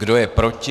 Kdo je proti?